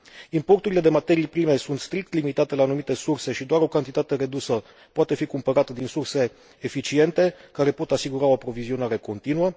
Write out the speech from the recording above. Importurile de materii prime sunt strict limitate la anumite surse și doar o cantitate redusă poate fi cumpărată din surse eficiente, care pot asigura o aprovizionare continuă.